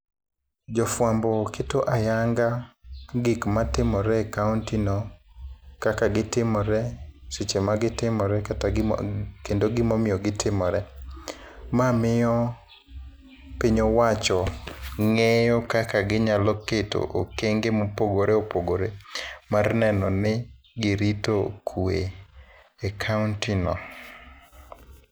Jofwambo keto ayanga gik matimore e kaontino, kaka gitimore, seche magitimore kata kendo gimomiyo gitimore. Ma miyo piny owacho ng'eyo kaka ginyalo keto okenge mopogore opogore mar neno ni girito kuwe e kaontino.